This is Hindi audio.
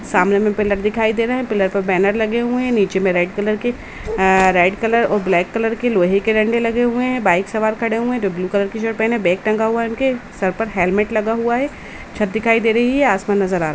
सामने में पिलर दिखाई दे रहे हैं। पिलर पर बैनर लगे हुए हैं। नीचे मे रेड कलर के आ रेड कलर और ब्लैक कलर के लोहे के डंडे लगे हुए हैं। बाइक सवार खड़े हुए हैं जो ब्लू कलर के शर्ट पहने हुए हैं हाथ मे बैग टंगा हुआ है। उनके सर पर हेलमेट लगा हुआ है। छत दिखाई दे रही है आसमान नजर आ रहा --